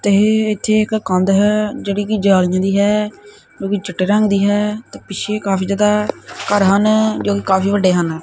ਤੇ ਇਥੇ ਇਕ ਕੰਧ ਹੈ ਜਿਹੜੀ ਕਿ ਜਾਰਜ ਦੀ ਹੈ ਕਿਉਂਕਿ ਚਿੱਟੇ ਰੰਗ ਦੀ ਹੈ ਤੇ ਪਿੱਛੇ ਕਾਫੀ ਜਿਆਦਾ ਘਰ ਹਨ ਜੋ ਕਾਫੀ ਵੱਡੇ ਹਨ।